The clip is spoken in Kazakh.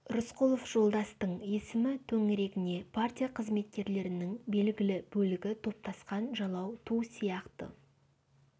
рысқұлов жолдастың есімі төңірегіне партия қызметкерлерінің белгілі бөлігі топтасқан жалау ту сияқты